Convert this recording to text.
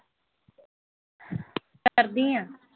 ਕਰਦੀ ਆਂ